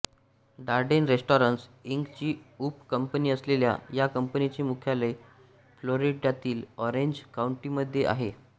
Dardenne restaurants इंकची उप company असलेल्या या कंपनीचे मुख्यालय फ्लोरिडातील ऑरेंज काउंटीमध्ये आहे